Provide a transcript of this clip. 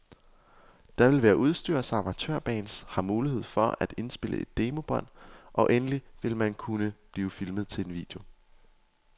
Der vil være udstyr, så amatørbands har mulighed for at indspille demobånd, og endelig vil man kunne blive filmet til en video.